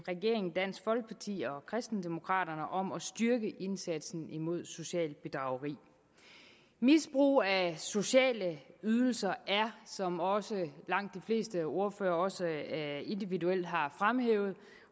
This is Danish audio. regeringen dansk folkeparti og kristendemokraterne om at styrke indsatsen mod socialt bedrageri misbrug af sociale ydelser er som også langt de fleste ordførere individuelt har fremhævet